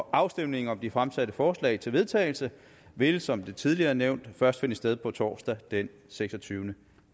afstemningen om de fremsatte forslag til vedtagelse vil som det tidligere er nævnt først finde sted torsdag den seksogtyvende